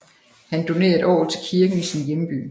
Han donerede et orgel til kirken i sin hjemby